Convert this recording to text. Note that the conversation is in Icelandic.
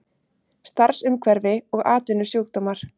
Starfsumhverfi og atvinnusjúkdómar.